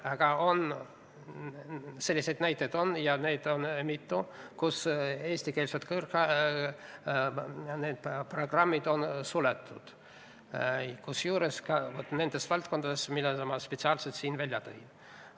Aga näiteid selle kohta on – ja neid on mitu –, et eestikeelsed programmid on suletud, kusjuures ka nendes valdkondades, mis ma spetsiaalselt siin välja tõin.